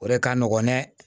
O de ka nɔgɔn ne